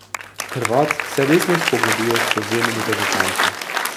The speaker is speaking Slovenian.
Hrvat se resno spogleduje s prevzemom reprezentance ...